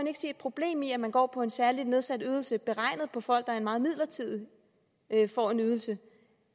et problem i at man går på en særlig nedsat ydelse beregnet på folk der meget midlertidig får en ydelse